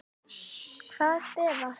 Hvaða stef var það?